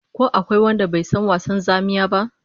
Ko akwai wanda bai san wasan zamiya ba?